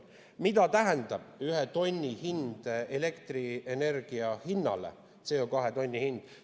Mida tähendab CO2 ühe tonni hind elektrienergia hinnale?